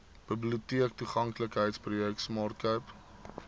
biblioteektoeganklikheidsprojek smart cape